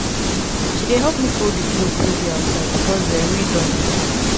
she dey help me fold clothes wey dey outside because um rain don dey fall.